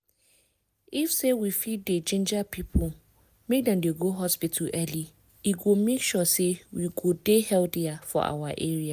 if say we fit dey ginger people make dem go hospital early e go make sure say we go dey healthier for our area.